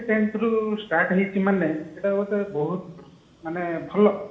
tenth ରୁ start ହେଇଛି ମାନେ ଏଟା ଗୋଟେ ବହୁତ ମାନେ ଭଲ